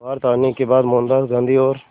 भारत आने के बाद मोहनदास गांधी और